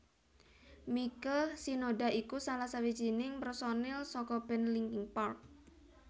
Mike Shinoda iku salah sawijining pérsonil saka band Linkin Park